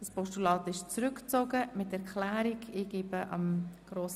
Das Postulat wird mit Erklärung zurückgezogen.